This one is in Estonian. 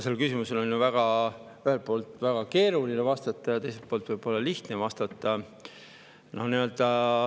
Sellele küsimusele on ühelt poolt väga keeruline vastata, aga teiselt poolt võib-olla lihtne vastata.